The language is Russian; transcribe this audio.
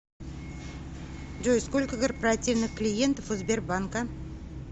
джой сколько корпоративных клиентов у сбербанка